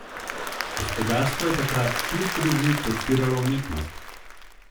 Gospodarstvo je takrat kljub krizi podpiralo umetnost.